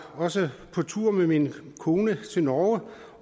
også på tur med min kone til norge